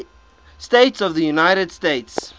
states of the united states